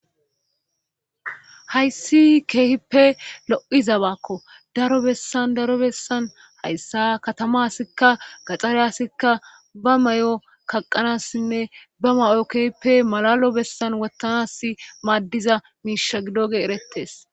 Hayssi keehippe lo7izabakko daro bessan daro bessan hayssa katamasikka gaxxareyasikka ba may7o kaqanassinne ba may7o keehippe malalo bessan wottanasi maaddiza miisha gidoge erettes.